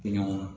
Tɛ ɲɔgɔn na